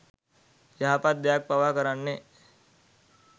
යහපත් දෙයක් පවා කරන්නේ